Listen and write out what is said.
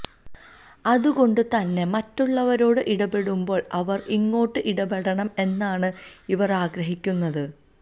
അതുകൊണ്ട് തന്നെ മറ്റുള്ളവരോട് ഇടപെടുമ്പോള് അവര് ഇങ്ങോട്ട് ഇടപെടണം എന്നാണ് ഇവര് ആഗ്രഹിക്കുന്നത്